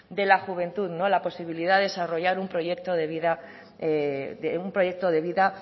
de la juventud la posibilidad de desarrollar un proyecto de vida